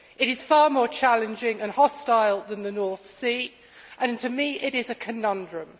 It is far more challenging and hostile than the North Sea and to me, it is a conundrum.